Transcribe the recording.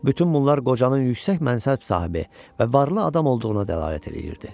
Bütün bunlar qocanın yüksək mənsəb sahibi və varlı adam olduğuna dəlalət eləyirdi.